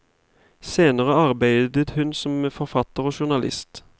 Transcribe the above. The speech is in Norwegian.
Senere arbeidet hun som forfatter og journalist.